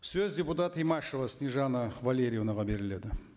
сөз депутат имашева снежанна валерьевнаға беріледі